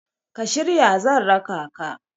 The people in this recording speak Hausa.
ka shirya zan raka ka?